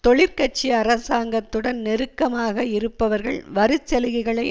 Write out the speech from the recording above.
தொழிற்கட்சி அரசாங்கத்துடன் நெருக்கமாக இருப்பவர்கள் வரிச்சலுகைகளை